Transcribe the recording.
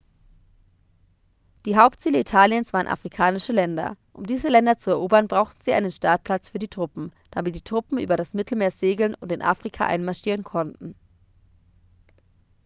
die hauptziele italiens waren afrikanische länder um diese länder zu erobern brauchten sie einen startplatz für die truppen damit die truppen über das mittelmeer segeln und in afrika einmarschieren konnten